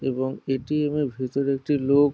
এবং এ.টি.এম এর ভেতর একটি লোক ।